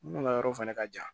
Minnu ka yɔrɔ fɛnɛ ka jan